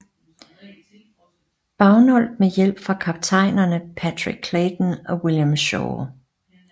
Bagnold med hjælp fra kaptajnerne Patrick Clayton og William Shaw